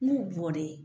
N b'u bɔlen